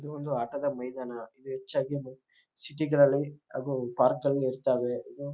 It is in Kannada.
ಇದು ಒಂದು ಆಟದ ಮೈದಾನ ಇವು ಹೆಚ್ಚಾಗಿ ಸಿಟಿ ಗಳಲ್ಲಿ ಹಾಗೂ ಪಾರ್ಕ್ ಗಳಲ್ಲಿ ಇರ್ತಾವೆ--